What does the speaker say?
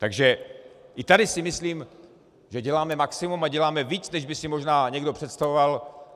Takže i tady si myslím, že děláme maximum a děláme víc, než by si možná někdo představoval.